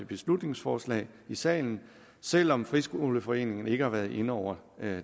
beslutningsforslag i salen selv om friskoleforeningen ikke har været inde over